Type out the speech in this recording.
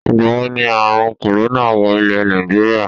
Ìgbàwo ni àrun "corona" wọ ilè Nàìjíríà?